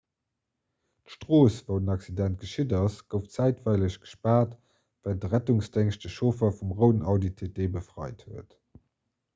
d'strooss wou den accident geschitt ass gouf zäitweileg gespaart wärend de rettungsdéngscht de chauffer vum rouden audi tt befreit huet